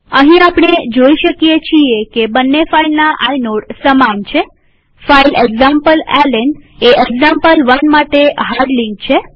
અહીં આપણે જોઈ શકીએ છીએ કે બંને ફાઈલના આઇનોડ સમાન છેફાઈલ એક્ઝામ્પલેલ્ન એ એક્ઝામ્પલ1 માટે હાર્ડ લિંક છે